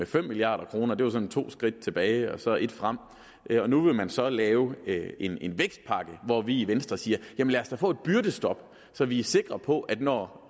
fem milliard kroner det var sådan to skridt tilbage og så et frem nu vil man så lave en en vækstpakke hvor vi i venstre siger jamen lad os da få et byrdestop så vi er sikre på at når